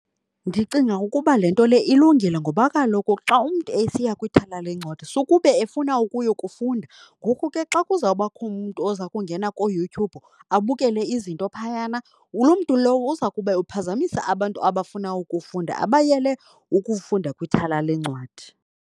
Ndicinga ukuba le nto le ilungile ngoba kaloku xa umntu esiya kwithala leencwadi sukube efuna ukuyo kufunda. Ngoku ke xa kuzawubakho umntu oza kungena kooYouTube abukele izinto phayana, loo mntu lowo uza kube uphazamisa abantu abafuna ukufunda, abayele ukufunda kwithala leencwadi.